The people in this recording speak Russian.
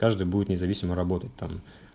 каждый будет независимо работать там